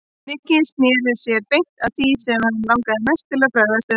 Nikki snéri sér beint að því sem hann langaði mest til þess að fræðast um.